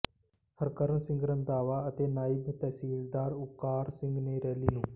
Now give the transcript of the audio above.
ਹਰਕਰਨ ਸਿੰਘ ਰੰਧਾਵਾ ਅਤੇ ਨਾਇਬ ਤਹਿਸੀਲਦਾਰ ਓਾਕਾਰ ਸਿੰਘ ਨੇ ਰੈਲੀ ਨੂੰ